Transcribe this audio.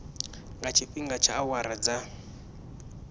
nga tshifhinga tsha awara dza